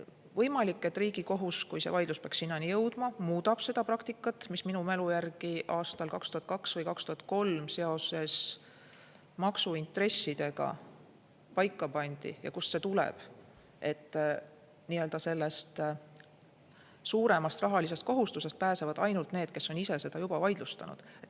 Võimalik, et Riigikohus, kui see vaidlus peaks sinnani jõudma, muudab seda praktikat, mis minu mälu järgi aastal 2002 või 2003 seoses maksuintressidega paika pandi ja kust tulenes lahend, et suuremast rahalisest kohustusest pääsevad ainult need, kes on ise seda vaidlustanud.